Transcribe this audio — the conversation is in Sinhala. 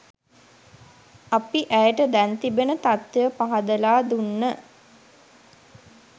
අපි ඇයට දැන් තිබෙන තත්වය පහදලා දුන්න.